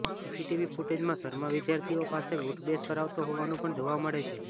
CCTV ફૂટેજમાં શર્મા વિદ્યાર્થીઓ પાસે ઊઠબેસ કરાવતો હોવાનું પણ જોવા મળે છે